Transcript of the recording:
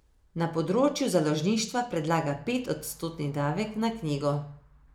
Na področju založništva predlaga pet odstotni davek na knjigo.